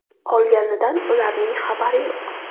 Qolganidan ularning xabari yo‘q.